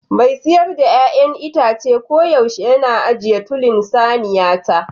Mai siyar da 'ya'yan itace koyaushe yana ajiye tulin saniyata